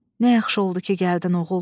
Nə yaxşı oldu ki, gəldin oğul.